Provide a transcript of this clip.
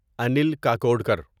Anil Kakodkar